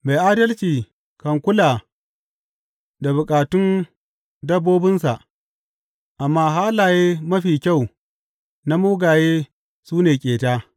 Mai adalci kan kula da bukatun dabbobinsa, amma halaye mafi kyau na mugaye su ne ƙeta.